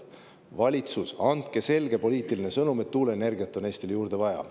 Valitsus, andke selge poliitiline sõnum, et tuuleenergiat on Eestile juurde vaja.